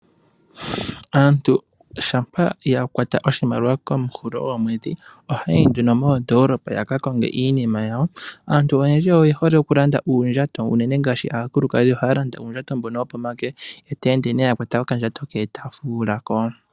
Aantu shampa ya kwata oshimaliwa kehulilo lyomwedhi ohaya yi nduno moondoolopa ya ka konge iinima yawo. Aantu oyendji oye hole oku landa uundjato uunene ngaashi aakulukadhi ohaya landa uundjato mbono wo pomake eta ende ya kwata okandjato ke ta fuula ooyakwawo.